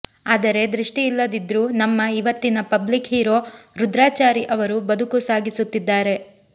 ಆದರೆ ದೃಷ್ಟಿ ಇಲ್ಲದಿದ್ರೂ ನಮ್ಮ ಇವತ್ತಿನ ಪಬ್ಲಿಕ್ ಹೀರೋ ರುದ್ರಾಚಾರಿ ಅವರು ಬದುಕು ಸಾಗಿಸುತ್ತಿದ್ದಾರೆ